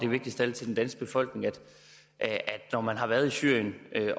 vigtigst af alt til den danske befolkning at når man har været i syrien